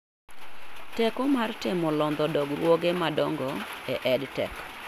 Teko mar temo londho dongruoge madongo e EdTech